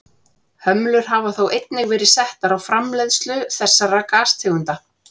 Hömlur hafa þó einnig verið settar á framleiðslu þessara gastegunda.